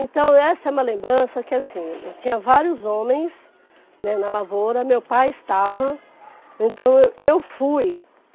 Então essa é uma lembrança que assim, eu tinha vários homens, né, na lavoura, meu pai estava, então eu fui.